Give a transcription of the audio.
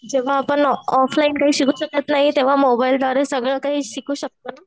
जेंव्हा आपण ऑफलाईन शिकू शकत नाही तेंव्हा मोबाईल द्वारे सगळं शिकू शकतो.